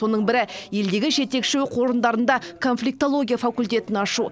соның бірі елдегі жетекші оқу орындарында конфликтология факультетін ашу